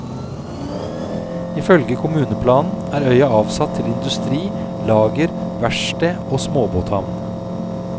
Ifølge kommuneplanen er øya avsatt til industri, lager, verksted og småbåthavn.